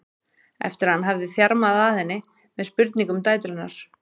eftir að hann hafði þjarmað að henni með spurningum um dætur hennar.